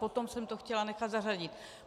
Potom jsem to chtěla nechat zařadit.